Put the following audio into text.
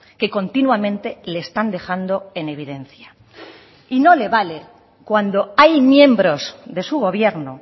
que continuamente le están dejando en evidencia y no le vale cuando hay miembros de su gobierno